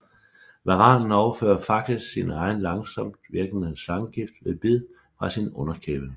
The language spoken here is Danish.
Varanen overfører faktisk sin egen langsomtvirkende slangegift ved bid fra sin underkæbe